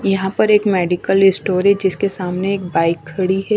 यहां पर एक मेडिकल स्टोअर है जिसके सामने एक बाइक खड़ी हैं।